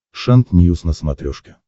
шант ньюс на смотрешке